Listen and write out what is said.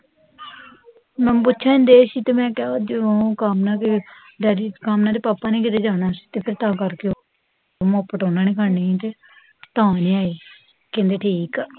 ਮੈਨੂੰ ਪੁੱਛਣ ਡੇ ਸੀ ਤੇ ਮੈਂ ਕਿਹਾ ਜਦੋ ਕਾਮਨਾ ਦੇ ਡੈਡੀ ਕਾਮਨਾ ਦੇ ਪਾਪਾ ਨੇ ਕੀਤੇ ਜਾਣਾ ਸੀ ਤਾਂ ਫੇਰ ਤਾਂ ਕਰ ਕੇ ਉਹ ਦੋਨਾਂ ਨੇ ਫੜ੍ਹਨੀ ਸੀ ਤੇ ਤਾਂ ਨੀ ਆਈ ਕਹਿੰਦੇ ਠੀਕ ਆ